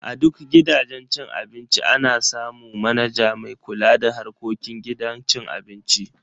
A duk gidajen cin abinci ana samu manaja mai kula da harkokin gidan cin abincin.